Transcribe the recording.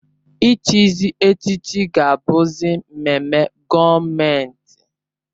Ị chịzị echịchị ga-abụzị mmemme gọọmentị